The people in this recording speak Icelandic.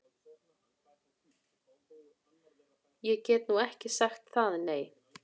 Ég get nú ekki sagt það, nei.